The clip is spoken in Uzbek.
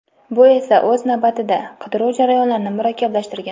Bu esa o‘z navbatida, qidiruv jarayonlarini murakkablashtirgan.